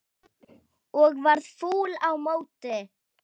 Og verða fúll á móti!